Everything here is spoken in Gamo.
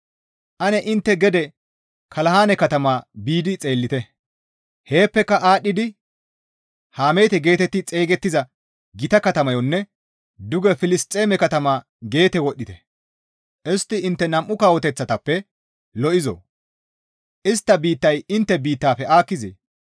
Ane intte gede Kalanahe katama biidi xeellite; heeppeka aadhdhidi Hamaate geetetti xeygettiza gita katamayonne duge Filisxeeme katama Geete wodhdhite; istti intte nam7u kawoteththatappe lo7izoo? Istta biittay intte biittafe aakkizee?